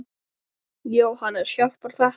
Jóhannes: Hjálpar þetta?